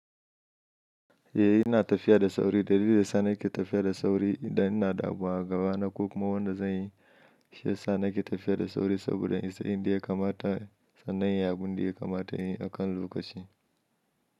Eh na tafiya da sauri. Dalili da sa nake tafiya da sauri idan ina da abu a gaba na ko kuma wanda zan yi. Shi yasa nake tafiya da sauri saboda in isa inda ya kamata, sannan ya bi indiya kamata in yi a kan lokaci.